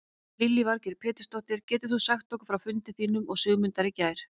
Lillý Valgerður Pétursdóttir: Getur þú sagt okkur frá fundi þínum og Sigmundar í gær?